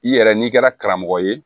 I yɛrɛ n'i kɛra karamɔgɔ ye